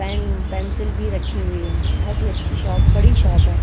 Pen pencil भी रक्खी हुई हैं। बहोत ही अच्छी शॉप बड़ी शॉप है।